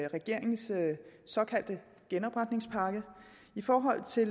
regeringens såkaldte genopretningspakke i forhold til